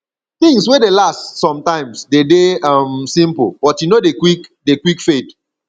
things wey dey last sometimes de dey um simple but e no dey quick dey quick fade